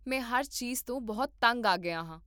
ਮੈਂ ਹਰ ਚੀਜ਼ ਤੋਂ ਬਹੁਤ ਤੰਗ ਆ ਗਿਆ ਹਾਂ